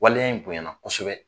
Waleya in bonyana kosɛbɛ.